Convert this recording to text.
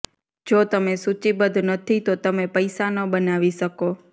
જો તમે સૂચિબદ્ધ નથી તો તમે પૈસા ન બનાવી શકો